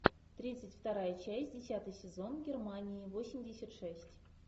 тридцать вторая часть десятый сезон германии восемьдесят шесть